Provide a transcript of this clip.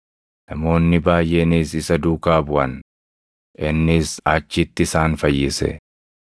Namoonni baayʼeenis isa duukaa buʼan; innis achitti isaan fayyise.